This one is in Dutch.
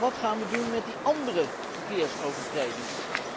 Maar wat gaan we doen met die andere verkeersovertredingen?